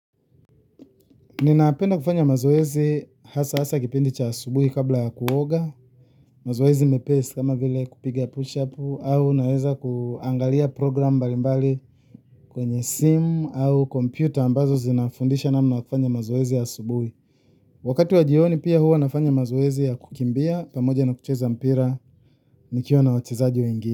Ninapenda kufanya mazoezi hasa hasa kipindi cha asubuhi kabla ya kuoga, mazoezi mepesi kama vile kupiga push-up au naweza kuangalia programu mbalimbali. Kwenye simu au kompyuta ambazo zinafundisha namna ya kufanya mazoezi ya asubuhi. Wakati wa jioni pia huwa nafanya mazoezi ya kukimbia pamoja na kucheza mpira nikiwa na wachezaji wengine.